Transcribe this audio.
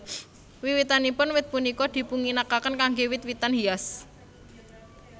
Wiwitanipun wit punika dipunginakaken kangge wit witan hias